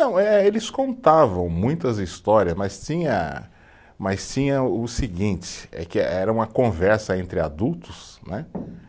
Não, eh eles contavam muitas histórias, mas tinha, mas tinha o seguinte, é que eh era uma conversa entre adultos né,